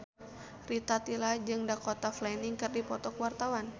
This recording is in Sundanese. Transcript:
Rita Tila jeung Dakota Fanning keur dipoto ku wartawan